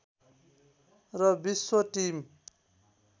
र विश्व टिम